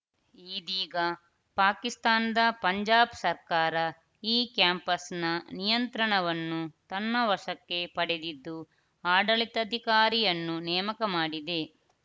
ಇದೀಗ ಪಾಕಿಸ್ತಾನದ ಪಂಜಾಬ್‌ ಸರ್ಕಾರ ಈ ಕ್ಯಾಂಪಸ್‌ನ ನಿಯಂತ್ರಣವನ್ನು ತನ್ನ ವಶಕ್ಕೆ ಪಡೆದಿದ್ದು ಆಡಳಿತಧಿಕಾರಿಯನ್ನು ನೇಮಕ ಮಾಡಿದೆ